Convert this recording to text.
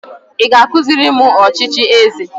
Ị ga-akụziri m ọchịchị eze?